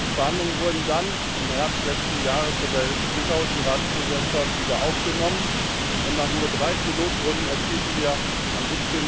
Die Verhandlungen wurden dann im Herbst letzten Jahres von der litauischen Ratspräsidentschaft wieder aufgenommen, und nach nur drei Trilogrunden erzielten wir am